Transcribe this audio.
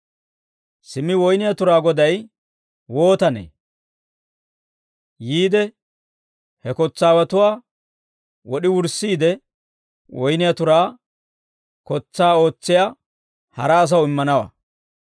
«Simmi woyniyaa turaa goday wootanee? Yiide he kotsaawatuwaa wod'i wurssiide, woyniyaa turaa kotsaa ootsiyaa hara asaw immanawaa.